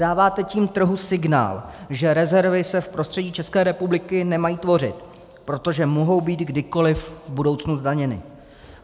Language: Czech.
Dáváte tím trhu signál, že rezervy se v prostředí České republiky nemají tvořit, protože mohou být kdykoliv v budoucnu zdaněny.